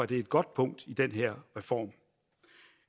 det et godt punkt i den her reform